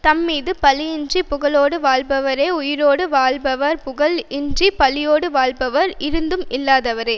தம்மீது பழி இன்றி புகழோடு வாழ்பவரே உயிரோடு வாழ்பவர் புகழ் இன்றி பழியோடு வாழ்பவர் இருந்தும் இல்லாதவரே